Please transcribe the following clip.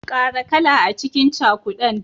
Kara kala cikin cakudan.